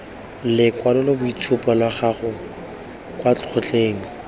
lekwaloitshupo la gago kwa kgotleng